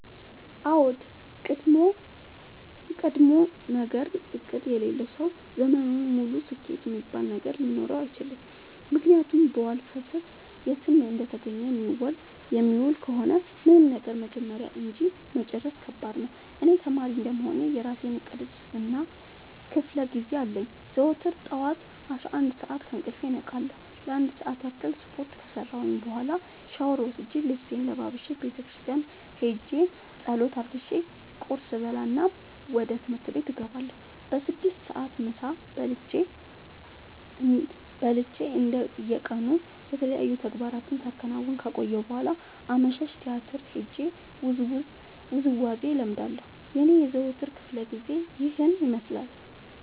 አዎድ ቀድሞነገር እቅድ የሌለው ሰው ዘመኑን ሙሉ ስኬት እሚባል ነገር ሊኖረው አይችልም። ምክንያቱም በዋልፈሰስ የትም እንደተገኘ የሚውል ከሆነ ምንም ነገር መጀመር እንጂ መጨረስ ከባድ ነው። እኔ ተማሪ እንደመሆኔ የእራሴ እቅድ እና ክፋለጊዜ አለኝ። ዘወትር ጠዋት አስራአንድ ሰዓት ከእንቅልፌ እነቃለሁ ለአንድ ሰዓት ያክል ስፓርት ከሰራሁኝ በኋላ ሻውር ወስጄ ልብሴን ለባብሼ ቤተክርስቲያን ኸጄ ፀሎት አድርሼ ቁርስ እበላና ወደ ትምህርት እገባለሁ። በስድስት ሰዓት ምሳ በልቼ እንደ የቀኑ የተለያዩ ተግባራትን ሳከናውን ከቆየሁ በኋላ አመሻሽ ቲያትር ሄጄ ውዝዋዜ እለምዳለሁ የኔ የዘወትር ክፍለጊዜ ይኸን ይመስላል።